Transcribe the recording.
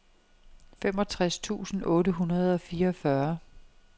femogtres tusind otte hundrede og fireogfyrre